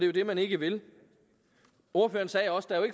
jo det man ikke vil ordføreren sagde også der er jo